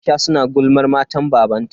Aisha su na gulmar matan babanta.